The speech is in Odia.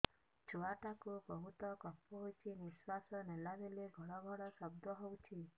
ଛୁଆ ଟା କୁ ବହୁତ କଫ ହୋଇଛି ନିଶ୍ୱାସ ନେଲା ବେଳେ ଘଡ ଘଡ ଶବ୍ଦ ହଉଛି